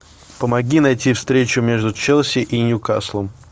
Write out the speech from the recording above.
помоги найти встречу между челси и ньюкаслом